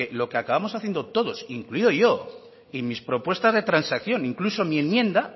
lo que acabamos haciendo todos incluido yo y mis propuestas de transacción incluso mi enmienda